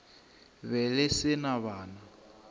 be le se na bana